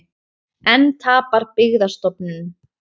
Enn tapar Byggðastofnun